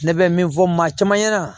Ne bɛ min fɔ maa caman ɲɛna